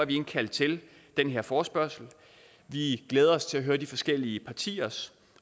vi indkaldt til den her forespørgsel vi glæder os til at høre de forskellige partiers